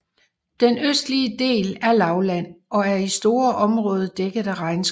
Den østlige del er lavland og er i store områder dækket af regnskov